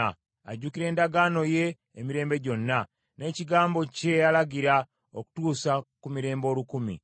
Ajjukira endagaano ye emirembe gyonna, n’ekigambo kye yalagira, okutuusa ku mirembe olukumi,